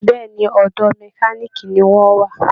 Bẹ́ẹ̀ ni, ọ̀dọ̀ mẹkáníìkì ni wọ́n wà